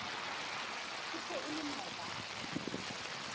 e se e le maobane